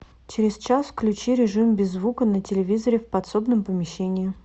через час включи режим без звука на телевизоре в подсобном помещении